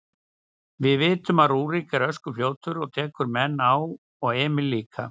Við vitum að Rúrik er öskufljótur og tekur menn á og Emil líka.